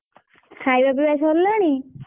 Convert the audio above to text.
ଖାଇବା ପିଇବା ସରିଲାଣି?